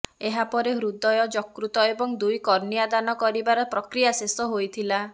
ଏହାପରେ ହୃଦୟ ଯକୃତ ଏବଂ ଦୁଇ କର୍ଣ୍ଣିଆ ଦାନ କରିବାର ପ୍ରକ୍ରିୟା ଶେଷ ହୋଇଥିଲା